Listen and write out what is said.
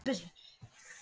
Fæ ég þá að hafa hann?